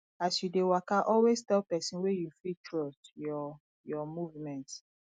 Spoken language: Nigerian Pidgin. as you de waka always tell persin wey you fit trust your your movement